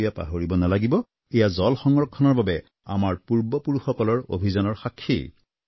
কিন্তু এয়া পাহৰিব নালাগিব এয়া জল সংৰক্ষণৰ বাবে আমাৰ পূৰ্বপুৰুষসকলৰ অভিযানৰ সাক্ষী